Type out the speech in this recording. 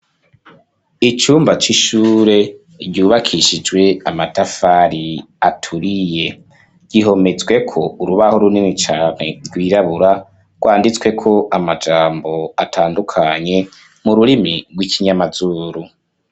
Icumba c'ishure ryubakishijwe amatafari aturiye gihometswe ko urubaho runini cane rwirabura rwanditswe ko amajambo atandukanye mu rurimi rw'ikinyamazuru.